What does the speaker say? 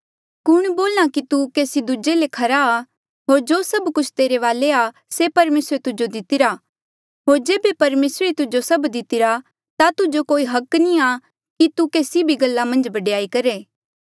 कुण बोल्हा कि तू केसी दूजे ले खरा आ होर जो सभ कुछ तेरे वाले आ से परमेसरे तुजो दितिरा होर जेबे परमेसरे ही तुजो सभ कुछ दितिरा ता तुजो कोई हक नी आ तू केसी भी गल्ला मन्झ बडयाई करहे